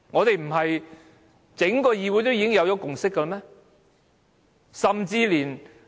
不是整個議會都已有共識嗎？